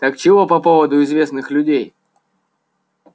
так чего по поводу известных людей